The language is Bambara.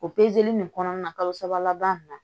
O nin kɔnɔna na kalo saba laban na